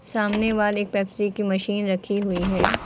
सामने वाले पेप्सी की मशीन रखी हुई है।